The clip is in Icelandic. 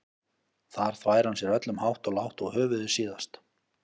Þar þvær hann sér öllum hátt og lágt og höfuðið síðast.